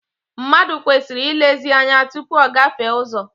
Mmadụ kwesịrị ilezi ányá tụpụ ọ gafee ụzọ.